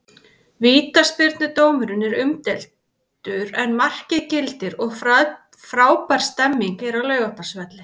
Vítaspyrnudómurinn er umdeildur en markið gildir og frábær stemning er á Laugardalsvelli.